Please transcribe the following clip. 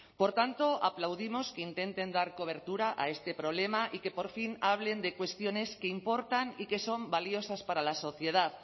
por tanto aplaudimos que intenten dar cobertura a este problema y que por fin hablen de cuestiones que importan y que son valiosas para la sociedad